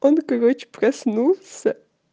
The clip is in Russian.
он короче проснулся